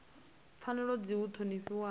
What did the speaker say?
pfanelo dzi fanela u ṱhonifhiwa